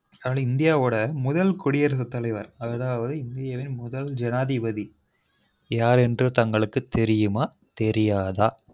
அப்புறம் இந்தியாவொட முதல் குடியரசுத்தலைவர் அதாவது இந்தியா வின் முதல் ஜனாதிபதி யார் என்று தங்களுக்கு தெரியுமா தெரியாதா